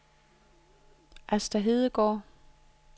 Asta Hedegaard